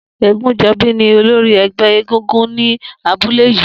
Egunjobi ni ólóri ẹgbẹ égúngún ni àbúlé yi